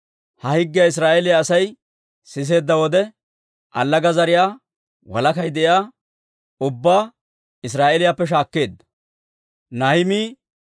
Ha higgiyaa Israa'eeliyaa Asay siseedda wode, allaga zariyaa walakay de'iyaa ubbaa Israa'eeliyaappe shaakkeedda.